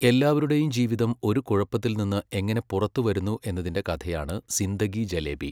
എല്ലാവരുടെയും ജീവിതം ഒരു കുഴപ്പത്തിൽ നിന്ന് എങ്ങനെ പുറത്തുവരുന്നു എന്നതിന്റെ കഥയാണ് സിന്ദഗി ജലേബി.